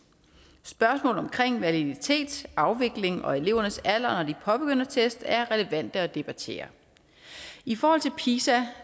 spørgsmål omkring validitet afvikling og elevernes alder når de påbegynder test er relevante ting at debattere i forhold til pisa